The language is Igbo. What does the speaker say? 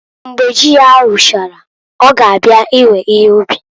Mgbe ji ya ruchara ọ ga abịa iwe ihe ub.